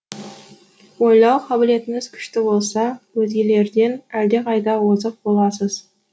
ойлау қабілетіңіз күшті болса өзгелерден әлдеқайда озық боласыз